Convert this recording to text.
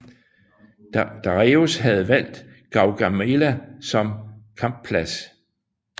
Dareius havde valgt Gaugamela som kampplads